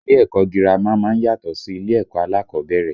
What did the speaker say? Ilé ẹ̀kọ́ girama má ń yàtọ̀ sí ilé ẹ̀kọ́ alákọ̀ọ́bẹ̀rẹ̀